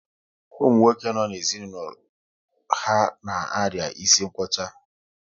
Ụmụ nwoke no n'ezinaulo ha na-aria isi nkwocha